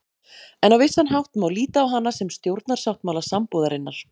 En á vissan hátt má líta á hana sem stjórnarsáttmála sambúðarinnar.